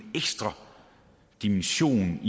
ekstra dimension